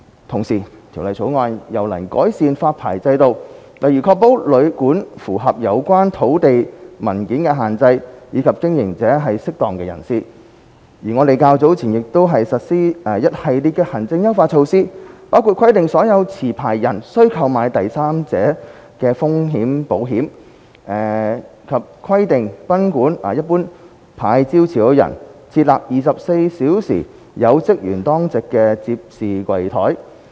同時，《條例草案》又能改善發牌制度，例如確保旅館符合有關土地文件的限制，以及經營者是"適當"人士，而我們較早前亦已實施一系列行政優化措施，包括規定所有持牌人須購買第三者風險保險，以及規定賓館牌照持有人設立24小時有職員當值的接待櫃檯。